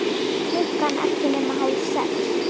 Klukkan ekki nema hálf sex.